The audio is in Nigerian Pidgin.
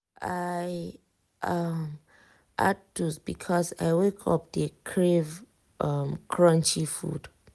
i um add toast because i wake up dey crave um crunchy food.